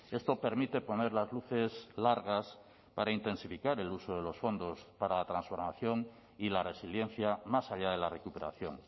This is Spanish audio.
esto permite poner las luces largas para intensificar el uso de los fondos para la transformación y la resiliencia más allá de la recuperación